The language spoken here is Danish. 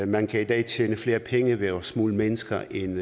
man kan i dag tjene flere penge ved at smugle mennesker end